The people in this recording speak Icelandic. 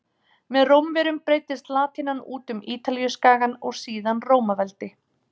Með Rómverjum breiddist latínan út um Ítalíuskagann og síðan Rómaveldi.